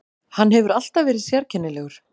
Hann hefur alltaf verið sérkennilegur.